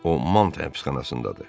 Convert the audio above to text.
O Mant həbsxanasındadır.